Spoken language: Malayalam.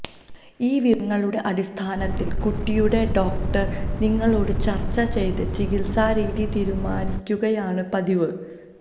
ഈ വിവരങ്ങളുടെ അടിസ്ഥാനത്തില് കുട്ടിയുടെ ഡോക്ടര് നിങ്ങളോട് ചര്ച്ച ചെയ്ത് ചികിത്സാ രീതി തീരുമാനിക്കുകയാണ് പതിവ്